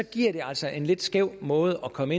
giver det altså en lidt skæv måde at komme